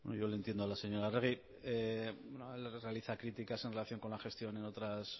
yo le entiendo a la señora arregi realiza críticas en relación con la gestión en otros